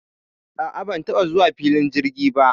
A a, ban taɓa zuwa filin jirgi ba.